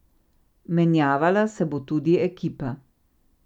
Menjavala se bo tudi ekipa.